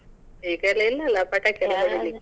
ಈಗೆಲ್ಲ ಇಲ್ಲ ಅಲ್ಲಾ ಪಟಾಕಿ ಎಲಾ ಹೊಡಿಲಿಕ್ಕೆ.